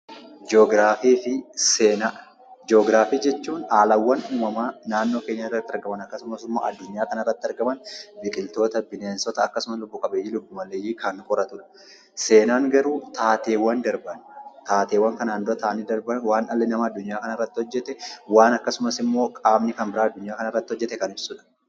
Ji'ograafii fi Seenaa Ji'ograafii jechuun haalawwan uumamaa naannoo keenya irratti argaman akkasumas immoo addunyaa kana irratti argaman, akkasumas immoo biqiltoota, bineensota, akkasumas lubbu qabeeyyii, lubbu maleeyyii kan qoratu dha. Seenaan garuu taateewwan darban, taateewwan kanaan dura ta'anii darban waan dhalli namaa addunyaa kana irratti hojjete, waan akkasumas immoo qaamni kan biraan addunyaa kana irratti hojjete kan ibsu dha.